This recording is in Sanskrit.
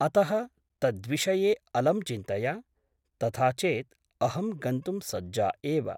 अतः तद्विषये अलं चिन्तया । तथा चेत् अहं गन्तुं सज्जा एव ।